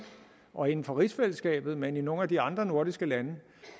og inden for rigsfællesskabet men i nogle af de andre nordiske lande